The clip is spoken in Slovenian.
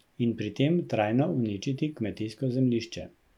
In pri tem trajno uničiti kmetijsko zemljišče.